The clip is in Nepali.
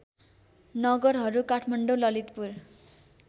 नगरहरू काठमाडौँ ललितपुर